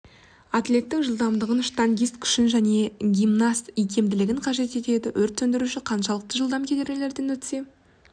атлеттің жылдамдығын штангист күшін және гимнаст икемділігін қажет етеді өрт сөндіруші қаншалықты жылдам кедергілерден өтсе